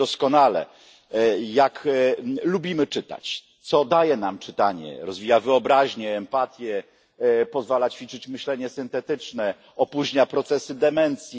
Wiemy doskonale, jak lubimy czytać, co daje nam czytanie rozwija wyobraźnię, empatię, pozwala ćwiczyć myślenie syntetyczne, opóźnia procesy demencji.